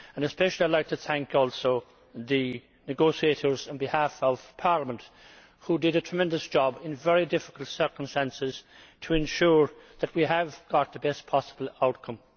I would especially like to thank also the negotiators on behalf of Parliament who did a tremendous job, in very difficult circumstances, to ensure that we got the best possible outcome.